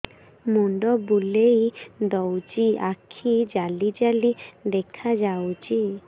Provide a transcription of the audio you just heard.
ମୁଣ୍ଡ ବୁଲେଇ ଦଉଚି ଆଖି ଜାଲି ଜାଲି ଦେଖା ଯାଉଚି